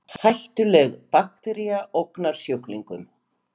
Hættuleg baktería ógnar sjúklingum